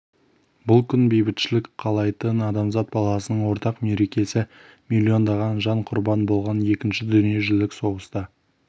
бұл күн бейбітшілік қалайтын адамзат баласының ортақ мерекесі миллиондаған жан құрбан болған екінші дүние жүзілік соғыста